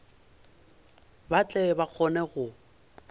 ba tle ba kgone go